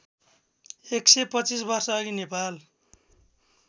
१२५ वर्षअघि नेपाल